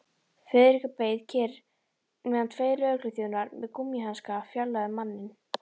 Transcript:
Friðrik beið kyrr meðan tveir lögregluþjónar með gúmmíhanska fjarlægðu manninn.